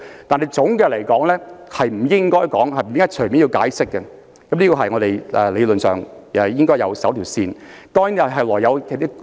但是，總的來說，不應該隨便要求解釋是我們理論上應遵守的一條界線。